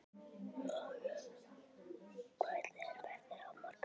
Jónbjörg, hvernig er veðrið á morgun?